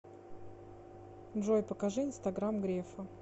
джой покажи инстаграм грефа